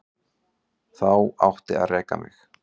Þá átti að reka mig.